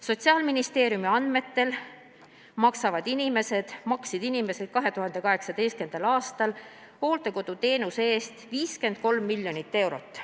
Sotsiaalministeeriumi andmetel maksid inimesed 2018. aastal hooldekoduteenuse eest 53 miljonit eurot.